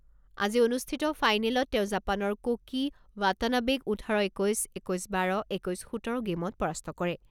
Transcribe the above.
আজি অনুষ্ঠিত ফাইনেলত তেওঁ জাপানৰ কোকি ৱাটানাবেক ওঠৰ একৈছ, একৈছ বাৰ, একৈছ সোতৰ গেইমত পৰাস্ত কৰে।